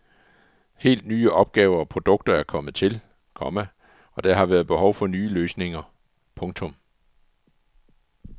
Helt nye opgaver og produkter er kommet til, komma og der har været behov for nye løsninger. punktum